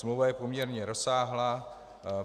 Smlouva je poměrně rozsáhlá.